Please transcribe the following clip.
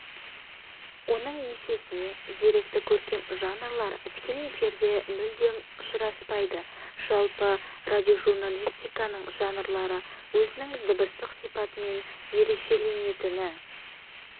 оның есесіне деректі көркем жанрлар тікелей эфирде мүлдем ұшыраспайды жалпы радиожурналистиканың жанрлары өзінің дыбыстық сипатымен ерекшеленетіні